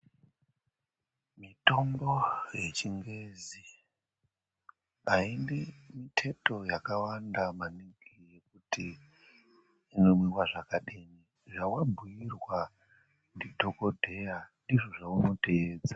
Mitombo yechingezi aidi miteto yakawanda maningi yokuti inomwiwa zvakadini zvawabhuyirwa ndidhokodheya ndizvo zvaunoteedza